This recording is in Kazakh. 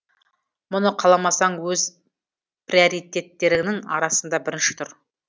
мұны қаламасаң өз приоритеттеріңнің арасында бірінші тұр